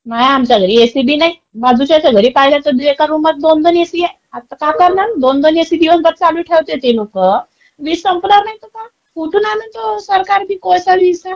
माय आमच्या घरी ऐसी बी नाय. बाजूच्याच्या घरी पाहिलं तर ऐका रूम मध्ये दोन दोन ऐसी आहे. आत्ता काय करणार दोन दोन ऐसी दिवसभर चालू ठेवते ते लोकं, वीज संपणार नई तर काय? कुठून आणण त्यो सरकारबी कोळसा-गिळसा?